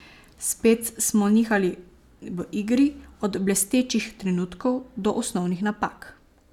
Spet smo nihali v igri, od blestečih trenutkov, do osnovnih napak.